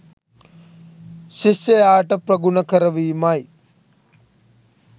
ශිෂ්‍යයාට ප්‍රගුණ කරවීමයි.